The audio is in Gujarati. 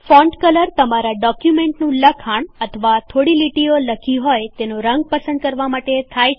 ફોન્ટ કલર તમારાં ડોક્યુમેન્ટનું લખાણ અથવા થોડી લીટીઓ લખી હોય તેનો રંગ પસંદ કરવા માટે થાય છે